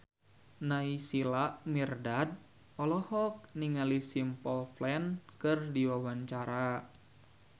Naysila Mirdad olohok ningali Simple Plan keur diwawancara